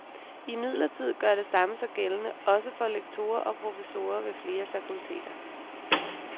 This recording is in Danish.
Imidlertid gør det samme sig gældende også for lektorer og professorer ved flere fakulteter.